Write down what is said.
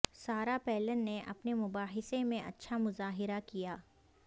سارا پیلن نے اپنے مباحثے میں اچھا مظاہرہ کیا